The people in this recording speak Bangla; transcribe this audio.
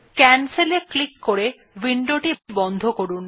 ক্যানসেল এ ক্লিক করে উইন্ডোটি বন্ধ করুন